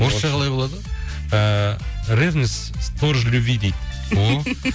орысша қалай болады ыыы ревность сторож любви дейді о